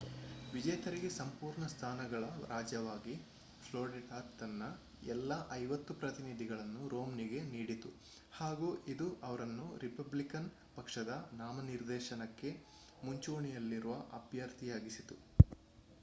ವಿಜೇತರಿಗೆ ಸಂಪೂರ್ಣ ಸ್ಥಾನಗಳ ರಾಜ್ಯವಾಗಿ ಫ್ಲೋರಿಡಾ ತನ್ನ ಎಲ್ಲಾ ಐವತ್ತು ಪ್ರತಿನಿಧಿಗಳನ್ನು ರೊಮ್ನಿಗೆ ನೀಡಿತು ಹಾಗು ಇದು ಅವರನ್ನು ರಿಪಬ್ಲಿಕನ್ ಪಕ್ಷದ ನಾಮನಿರ್ದೇಶನಕ್ಕೆ ಮುಂಚೂಣಿಯಲ್ಲಿರುವ ಅಭ್ಯರ್ಥಿಯಾಗಿಸಿತು